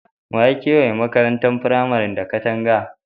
Wa ya kewaye makarantar firamaren da katanga?